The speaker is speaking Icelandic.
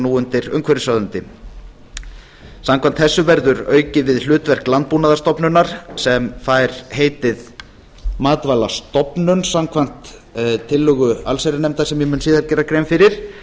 nú undir umhverfisráðuneyti samkvæmt þessu verður aukið við hlutverk landbúnaðarstofnunar sem fær heitið matvælastofnun samkvæmt tillögu allsherjarnefndar sem ég mun síðar gera grein fyrir